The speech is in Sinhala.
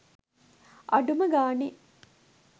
අඩුම ගානෙ